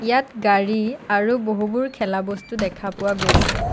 ইয়াত গাড়ী আৰু বহুবোৰ খেলা বস্তু দেখা পোৱা গৈছে।